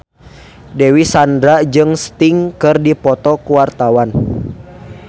Dewi Sandra jeung Sting keur dipoto ku wartawan